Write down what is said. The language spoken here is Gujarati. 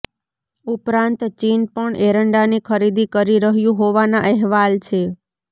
ઉપરાંત ચીન પણ એરંડાની ખરીદી કરી રહ્યું હોવાના અહેવાલ છે